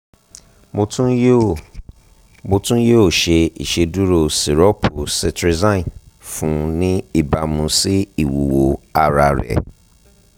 mo tun yoo mo tun yoo ṣe iṣeduro sirọpu cetrizine fun u ni ibamu si iwuwo ara rẹ